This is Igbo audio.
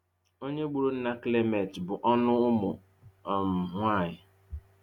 Onye gburu nna Clement bụ ọnụ - ụmụ um nwanyị